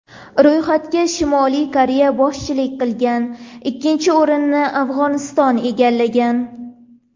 Ro‘yxatga Shimoliy Koreya boshchilik qilgan, ikkinchi o‘rinni Afg‘oniston egallagan.